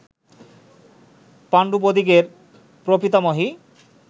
পাণ্ডবদিগের প্রপিতামহী